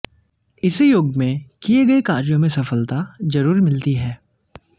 इस योग में किये गये कार्यों में सफलता जरूर मिलती है